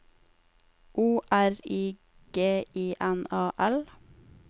O R I G I N A L